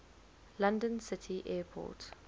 london city airport